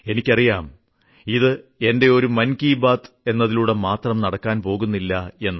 എനിക്കറിയാം ഇത് എന്റെ ഒരു മൻ കി ബാത് എന്നതിൽകൂടെ മാത്രം നടക്കാൻ പോകുന്നില്ല എന്ന്